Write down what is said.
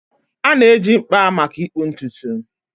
A na-eji mkpa maka ịkpụ ntutu.